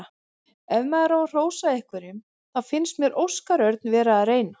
Ef maður á að hrósa einhverjum þá fannst mér Óskar Örn vera að reyna.